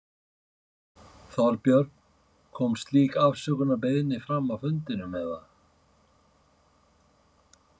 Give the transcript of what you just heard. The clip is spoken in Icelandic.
Þorbjörn: Kom slík afsökunarbeiðni fram á fundinum, eða?